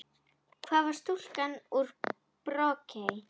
Hvar var stúlkan úr Brokey?